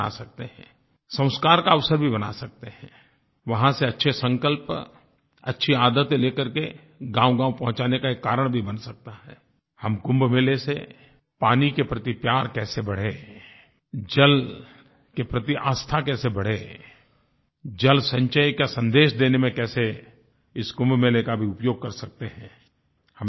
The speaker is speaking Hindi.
संस्कार का अवसर भी बना सकते हैंI वहाँ से अच्छे संकल्प अच्छी आदतें लेकर के गाँवगाँव पहुँचाने का एक कारण भी बन सकता हैI हम कुंभ मेले से पानी के प्रति प्यार कैसे बढ़े जल के प्रति आस्था कैसे बढ़े जलसंचय का संदेश देने में कैसे इस कुंभ मेले का भी उपयोग कर सकते हैं हमें करना चाहिएI